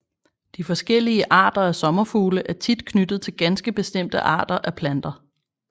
De forskellige arter af sommerfugle er tit knyttet til ganske bestemte arter af planter